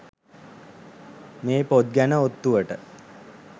මේ පොත් ගැන ඔත්තුවට.